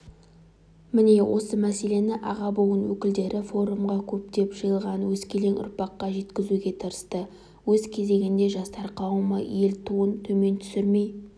міне осы мәселені аға буын өкілдері форумға көптеп жиылған өскелең ұрпаққа жеткізуге тырысты өз кезегінде жастар қауымы ел туын төмен түсірмей